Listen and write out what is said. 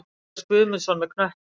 Matthías Guðmundsson með knöttinn.